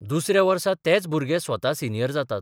दुसऱ्या वर्सा तेच भुरगे स्वता सिनियर जातात.